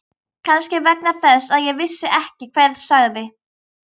Kannski vegna þess að ég vissi ekki hver sagði.